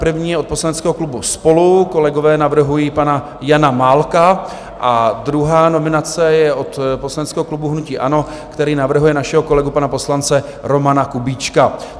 První je od poslaneckého klubu SPOLU, kolegové navrhují pana Jana Málka, a druhá nominace je od poslaneckého klubu hnutí ANO, který navrhuje našeho kolegu, pana poslance Romana Kubíčka.